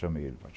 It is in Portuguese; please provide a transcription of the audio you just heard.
Chamei ele em